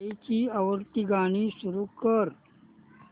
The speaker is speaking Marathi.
आईची आवडती गाणी सुरू कर